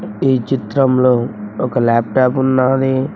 ఈ చిత్రంలో ఒక లాప్టాప్ ఉన్నాది.